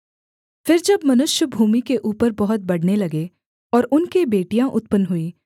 फिर जब मनुष्य भूमि के ऊपर बहुत बढ़ने लगे और उनके बेटियाँ उत्पन्न हुईं